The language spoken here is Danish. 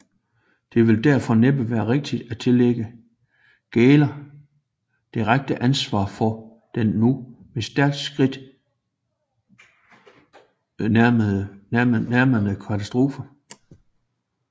Det vil derfor næppe være rigtigt at tillægge Gähler direkte ansvar for den nu med stærke skridt sig nærmende katastrofe